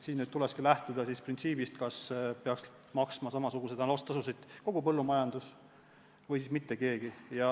Tulekski lähtuda printsiibist, et kas samasuguseid saastetasusid peaks maksma kogu põllumajandus või siis mitte keegi.